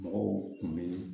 Mɔgɔw kun bɛ